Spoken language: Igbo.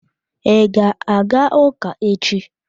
I ga-aga ụka echi?